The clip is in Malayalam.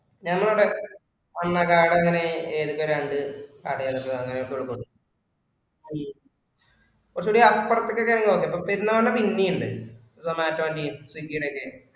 നമ്മടെവിടെ വന്ന card അങ്ങിനെ എഴുതി തരാണ്ട് കടയിലൊന്നും അങ്ങിനെ കൊടുക്കുവുള്ളു. കുറച്ചുകൂടി അപ്പുറത്തേക്ക് ഒക്കെ ഞാൻ നോക്കി പക്ഷെ പെരുന്നാളിന് പിന്നെയും ഉണ്ട് Zomato ഇന്റെയും Swiggy ഈടെ ഒക്കെ